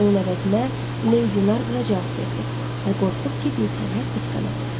Onun əvəzinə Lady Narbor cavab verdi və qorxur ki, bilsələr qısqanarlar.